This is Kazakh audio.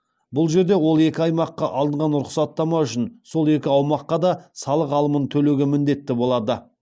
бұл жерде ол екі аймаққа алынған рұқсаттама үшін сол екі аумаққа да салық алымын төлеуге міндетті болады